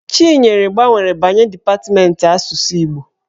Chinyere gbanwere banye depatmentị asụsụ Igbo.